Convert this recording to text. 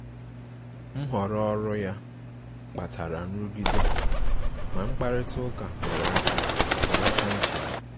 Nhọrọ um ọrụ ya kpatara nrụgide, ma mkparịta ụka nyere aka belata nchegbu.